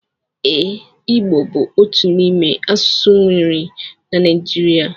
Eee, igbo bu otu imé asụsụ enwere na Naijiria.